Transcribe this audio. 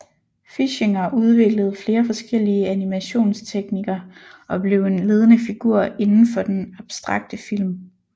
Fischinger udviklede flere forskellige animationstekniker og blev en ledende figur indenfor den abstrakte film